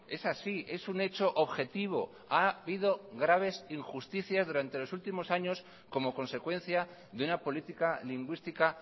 es así es un hecho objetivo ha habido graves injusticias durante los últimos años como consecuencia de una política lingüística